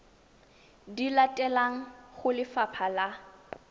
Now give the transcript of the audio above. di latelang go lefapha la